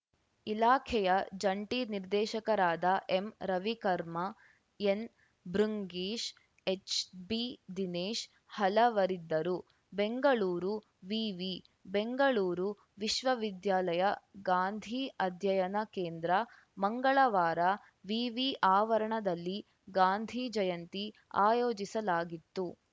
ಇಲಾಖೆಯ ಜಂಟಿ ನಿರ್ದೇಶಕರಾದ ಎಂರವಿಕರ್ಮಾ ಎನ್‌ಭೃಂಗೀಶ್‌ ಎಚ್‌ಬಿದಿನೇಶ್‌ ಹಲವರಿದ್ದರು ಬೆಂಗಳೂರು ವಿವಿ ಬೆಂಗಳೂರು ವಿಶ್ವವಿದ್ಯಾಲಯ ಗಾಂಧಿ ಅಧ್ಯಯನ ಕೇಂದ್ರ ಮಂಗಳವಾರ ವಿವಿ ಆವರಣದಲ್ಲಿ ಗಾಂಧಿ ಜಯಂತಿ ಆಯೋಜಿಸಲಾಗಿತ್ತು